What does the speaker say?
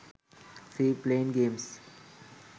free plane games